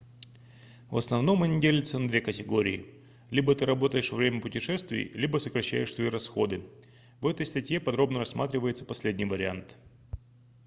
в основном они делятся на две категории либо ты работаешь во время путешествий либо сокращаешь свои расходы в этой статье подробно рассматривается последний вариант